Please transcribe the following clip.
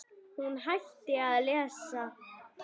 Hún hætti að lesa.